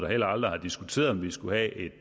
og heller aldrig har diskuteret om vi skulle have et